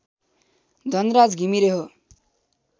धनराज घिमिरे हो